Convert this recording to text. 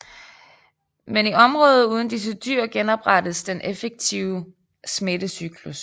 Men i områder uden disse dyr genoprettes den effektive smittecyklus